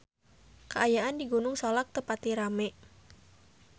Kaayaan di Gunung Salak teu pati rame